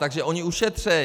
Takže oni ušetří!